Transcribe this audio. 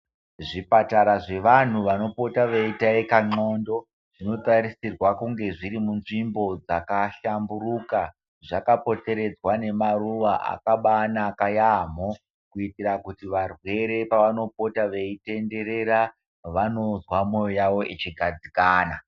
Zvipatara zvevantu vanopota veitaika ndhlondo zvinotarisirwe kunga zviri mundau dzakahlamburuka zvakapoteredzwa ngemaruwa akabaanaka yaamho ,kuitira kuti varwere pavanopota veitenderera vanozwa mwoyo yavo ichigadzikana.